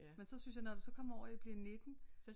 Men så synes jeg når det så kommer over og bliver 19